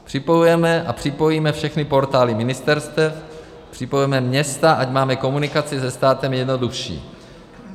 Připojujeme a připojíme všechny portály ministerstev, připojujeme města, ať máme komunikaci se státem jednodušší.